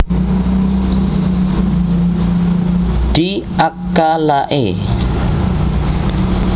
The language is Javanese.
Di ak ka lae